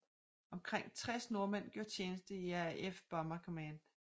Omkring 60 nordmænd gjorde tjeneste i RAF Bomber Command